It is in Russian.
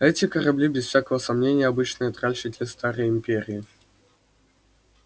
эти корабли без всякого сомнения обычные тральщики старой империи